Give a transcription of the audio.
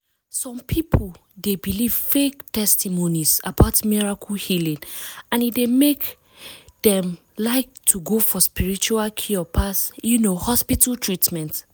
some people dey believe fake testimonies about miracle healing and e dey make dem like to go for spiritual cure pass um hospital treatment.